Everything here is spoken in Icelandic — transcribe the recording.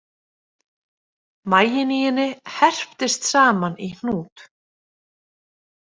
Maginn í henni herptist saman í hnút.